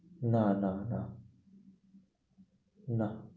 না না না। না